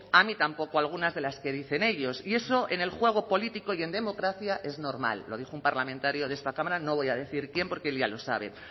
a mí tampoco algunas de las que dicen ellos y eso en el juego político y en democracia es normal lo dijo un parlamentario de esta cámara no voy a decir quién porque él ya lo sabe